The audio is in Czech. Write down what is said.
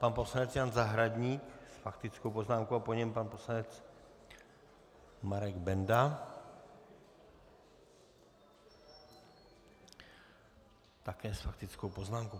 Pan poslanec Jan Zahradník s faktickou poznámkou a po něm pan poslanec Marek Benda také s faktickou poznámkou.